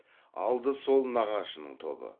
алды сол нағашының тобы